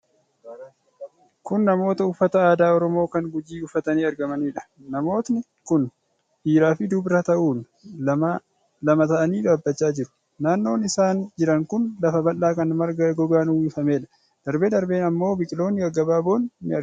Kun namoota uffata aadaa Oromoo kan Gujii uffatanii argamaniidha. Namooti kun dhiiraa fi dubara ta'uun lama ta'anii dhaabachaa jiru. Naannoon isaan jiran kun lafa bal'aa kan marga gogaan uwwifameedha. Darbee darbee ammoo biqiloonni gaggabaaboon ni argamu.